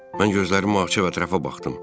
Mən gözlərimi açıb ətrafa baxdım.